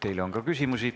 Teile on ka küsimusi.